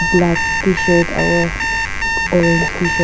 black tshirt aro orange tshirt --